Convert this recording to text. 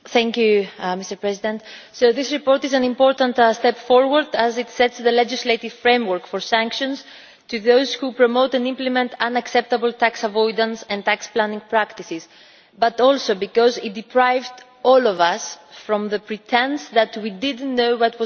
Mr President, this report is an important step forward, as it sets the legislative framework for sanctions against those who promote and implement unacceptable tax avoidance and tax planning practices, and also because it deprived all of us of the pretence that we did not know what was going on.